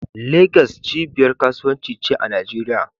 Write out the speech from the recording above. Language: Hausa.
Legas cibiyar kasuwanci ce a Najeriya